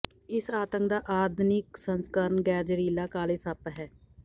ਇਸ ਆਤੰਕ ਦਾ ਆਧੁਨਿਕ ਸੰਸਕਰਣ ਗ਼ੈਰ ਜ਼ਹਿਰੀਲਾ ਕਾਲੇ ਸੱਪ ਹੈ